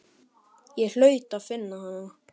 Ég hlaut að finna hana.